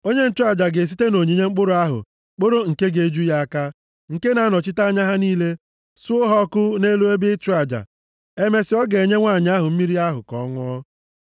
Onye nchụaja ga-esite nʼonyinye mkpụrụ ahụ kporo nke ga-eju ya aka, nke na-anọchite anya ha niile, suo ha ọkụ nʼelu ebe ịchụ aja. Emesịa, ọ ga-enye nwanyị ahụ mmiri ahụ ka ọ ṅụọ.